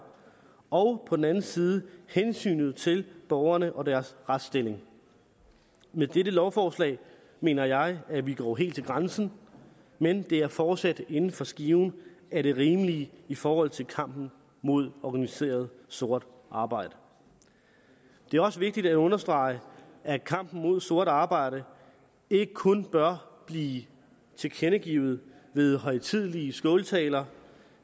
og på den anden side hensynet til borgerne og deres retsstilling med dette lovforslag mener jeg at vi går helt til grænsen men det er fortsat inden for skiven af det rimelige i forhold til kampen mod organiseret sort arbejde det er også vigtigt at understrege at kampen mod sort arbejde ikke kun bør blive tilkendegivet ved højtidelige skåltaler